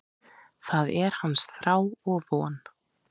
Það er hans þrá og von.